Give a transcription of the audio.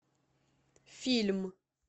фильм